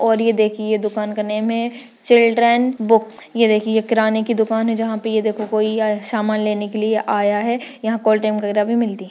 और ये देखिये ये दुकान का नेम है चिल्ड्रन बुक ये देखिये ये किराने की दुकान है जहाँ पे ये देखो कोई आया है सामान लेने के लिए आया है यहाँ कोल्ड ड्रिंक वगेरा भी मिलती है।